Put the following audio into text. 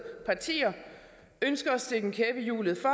partier ønsker at stikke en kæp i hjulet for